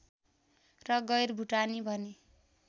र गैरभुटानी भनी